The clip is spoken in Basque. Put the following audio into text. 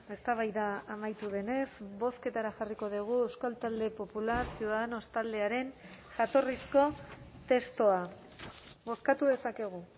eztabaida amaitu denez bozketara jarriko dugu euskal talde popular ciudadanos taldearen jatorrizko testua bozkatu dezakegu